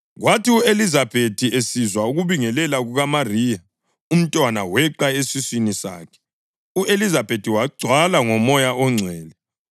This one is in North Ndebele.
Kwathi u-Elizabethi esizwa ukubingelela kukaMariya, umntwana weqa esiswini sakhe, u-Elizabethi wagcwala ngoMoya oNgcwele.